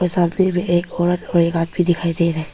सामने में एक औरत और एक आदमी दिखाई दे रहा है।